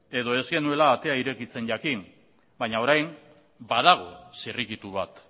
edo ez genuela atea irekitzen jakin baina orain badago zirrikitu bat